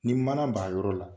Ni mana b' a yɔrɔ la.